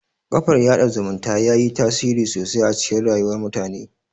Kafar yaɗa zumunta yayi tasiri sosai a cikin rayuwar mutane